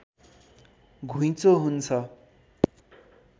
घुँइचो हुन्छ